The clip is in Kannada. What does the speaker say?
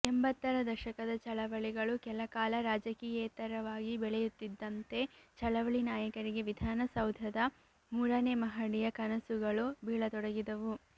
ಎಂಬತ್ತರ ದಶಕದ ಚಳವಳಿಗಳು ಕೆಲ ಕಾಲ ರಾಜಕಿಯೇತರವಾಗಿ ಬೆಳೆಯುತ್ತಿದ್ದಂತೆ ಚಳವಳಿ ನಾಯಕರಿಗೆ ವಿಧಾನಸೌಧದ ಮೂರನೇ ಮಹಡಿಯ ಕನಸುಗಳು ಬೀಳ ತೊಡಗಿದವು